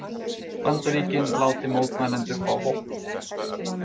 Bandaríkin láti mótmælendur fá vopn